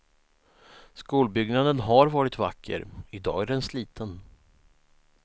Skolbyggnaden har varit vacker, i dag är den sliten.